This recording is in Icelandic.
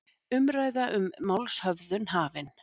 Umræða um málshöfðun hafin